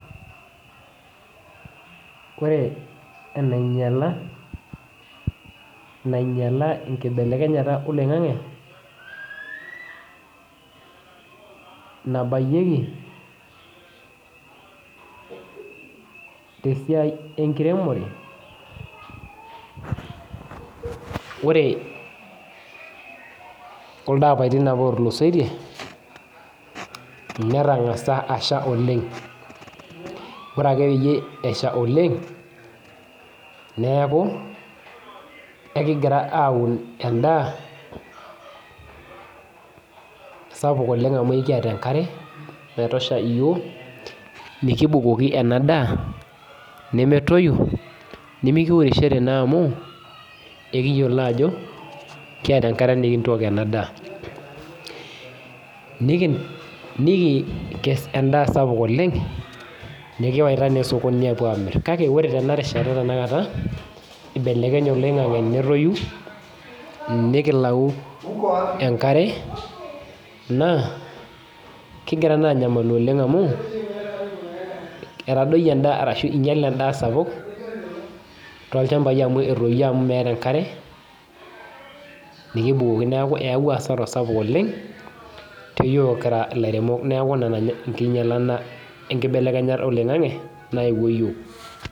Ore enainyala nkibelekenyat oloingangi nabayieki tesiai enkiremore ore kuldo apatin apa otukusoitie netangasa asha oleng ore pesha oleng neaku ekingira aun endaa sapuk amu ekiata enkare naitosha yiok nikibukoki enadaa nemetoyu nimikimirishore naamu ekiyiolo ajo keeta enkaarebnintokie enadaa nikikes endaa sapuk oleng nikiyawa osokoni apuo amir kake ore tenarishata tanakata ibelekenye oleng nikilau enkare na kingira naa anyamalu oleng amu etadoyie endaa sapuk tolchambai amu etoyio enkop meetae enkare neaku ayawua asara sapuk oleng teyiok kira laremok neaku ina enkibelekenyata oloingangi nayawua yiok.